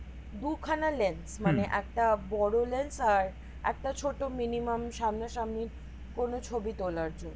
দু খানা lens মানে একটা বড় lens আর একটা ছোট minimum সামনা সামনি কোনো ছবি তোলার জন্য